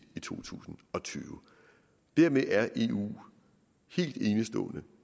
to tusind og tyve dermed er eu helt enestående